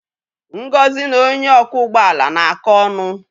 Ngozi na onye ọkwọ ụgbọ ala na-akọ ọnụ.